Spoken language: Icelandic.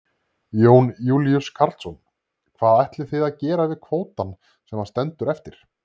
Jón Júlíus Karlsson: Hvað ætlið þið að gera við kvótann sem að stendur eftir?